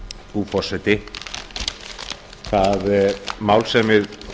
frú forseti það mál sem við